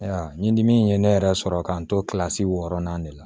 Ayiwa ɲindi min ye ne yɛrɛ sɔrɔ k'an to wɔɔrɔnan de la